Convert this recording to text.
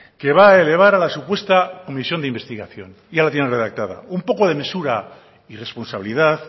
que va a elevar a la supuesta omisión de investigación ya la tiene redactada un poco de mesura y responsabilidad